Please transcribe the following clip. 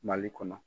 Mali kɔnɔ